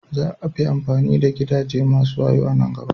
Za a fi amfani da gidaje masu wayo a nan gaba.